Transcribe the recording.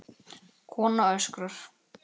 Kona öskrar.